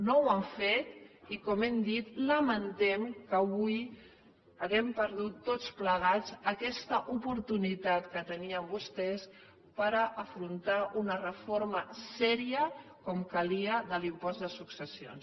no ho han fet i com hem dit lamentem que avui hàgim perdut tots plegats aquesta oportunitat que tenien vostès per afrontar una reforma seriosa com calia de l’impost de successions